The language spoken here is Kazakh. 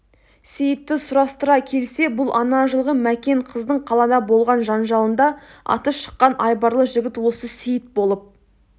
сейітті сұрастыра келсе бұл ана жылғы мәкен қыздың қалада болған жанжалында аты шыққан айбарлы жігіт осы сейіт болып